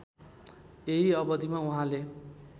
यही अवधिमा उहाँले